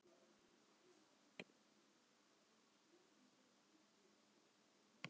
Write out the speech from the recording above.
Jóra kom blaðskellandi inn.